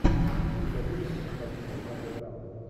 у тебя будет кинокартина в жанре драма